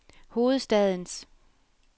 hovedstadens